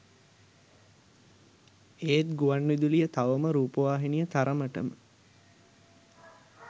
ඒත් ගුවන් විදුලිය තවම රූපවාහිනිය තරමටම